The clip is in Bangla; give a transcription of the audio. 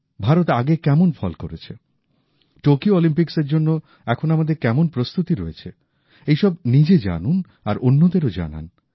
ভারত আগে কেমন ফল করেছে টোকিও অলিম্পিক্সের জন্য এখন আমাদের কেমন প্রস্তুতি রয়েছে এইসব নিজে জানুন আর অন্যদেরও জানান